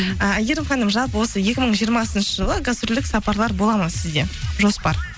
ы әйгерім ханым жалпы осы екі мың жиырмасыншы жылы гастрольдік сапарлар болады ма сізде жоспар